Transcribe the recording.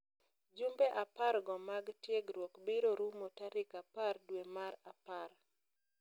Jumbe apar go mag tiegruok biro rumo tarik apar dwe mar apar.